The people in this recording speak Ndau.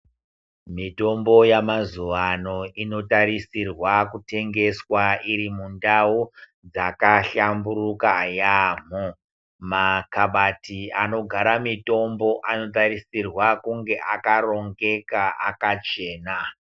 Mitombo yemazuva ano inotarisirwa kutengeswa iri mundau dzakahlamburuka yaamho. Makabati anogara mitombo anotarisirwa kunge akarongeka akachena.